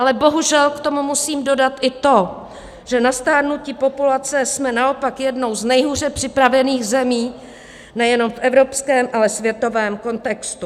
Ale bohužel k tomu musím dodat i to, že na stárnutí populace jsme naopak jednou z nejhůře připravených zemí nejenom v evropském, ale světovém kontextu.